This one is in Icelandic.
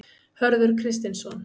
Hörður Kristinsson.